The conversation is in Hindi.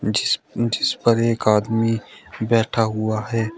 जिस जिस पर एक आदमी बैठा हुआ है।